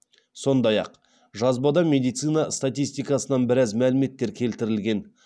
сондай ақ жазбада медицина статистикасынан біраз мәліметтер келтірілген